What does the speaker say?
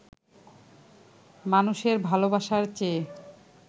মানুষের ভালোবাসার চেয়ে